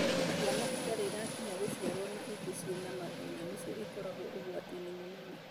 Ciana itarĩ cirakinyanĩra gũciarwo na ĩngĩ ciena mathĩna nĩcio ikoragwo ũgwati-inĩ mũnene.